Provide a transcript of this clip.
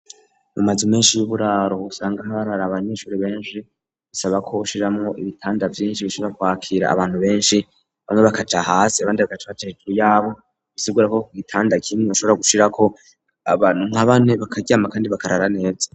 Mu mazu menshi y'uburaro usanga harara abanyeshuri benshi, bisabako ushiramwo ibitanda vyinshi bishobora kwakira abantu benshi, bamwe bakaja hasi abandi bagaca baja hejuru y'abo. Bisigura ko ku gitanda kimwe ushobora gushirako abantu nka bane bakaryama kandi bakarara neza.